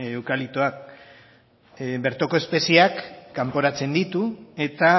eukaliptoak bertoko espeziak kanporatzen ditu eta